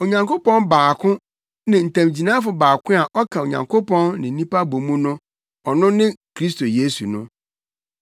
Onyankopɔn baako ne ntamgyinafo baako a ɔka Onyankopɔn ne nnipa bɔ mu no, ɔno ne Kristo Yesu no.